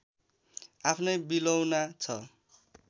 आफ्नै विलौना छ